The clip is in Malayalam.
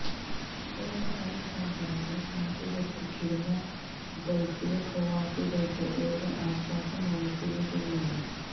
കൊറിയര് ആയി സാധനങ്ങള് നാട്ടിലേക്കയക്കുന്ന ഗള്ഫിലെ പ്രവാസികള്ക്ക് ഏറെ ആശ്വാസമാണ് പുതിയ തീരുമാനം